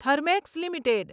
Thermax limited